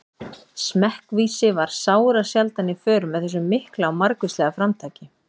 Smekkvísi var sárasjaldan í för með þessu mikla og margvíslega framtaki.